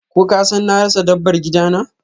Ko kasan na rasa dabbar gidana?